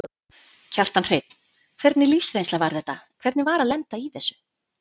Kjartan Hreinn: Hvernig lífsreynsla var þetta, hvernig var að lenda í þessu?